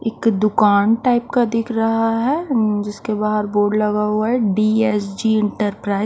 एक दुकान टाइप का दिख रहा है जिसके बाहर बोर्ड लगा हुआ है डी_एस_जी एंटरप्राइज .